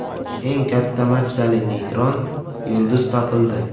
Eng katta massali neytron yulduz topildi.